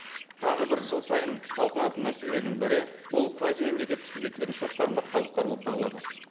тағы бір жыл сайын талқыланатын мәселелердің бірі бұл квазимемлекеттік субъектілерінің шоттарында қалдықтар болып табылады